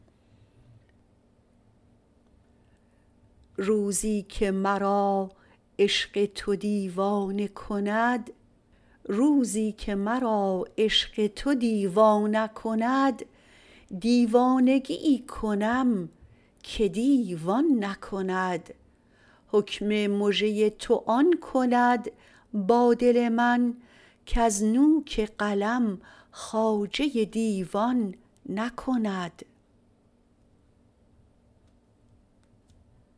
روزیکه مرا عشق تو دیوانه کند دیوانگی کنم که دیو آن نکند حکم مژه تو آن کند با دل من کز نوک قلم خواجه دیوان نکند